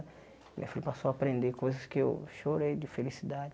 Minha filha passou a aprender coisas que eu chorei de felicidade.